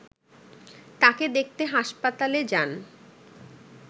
তাঁকে দেখতে হাসপাতালে যান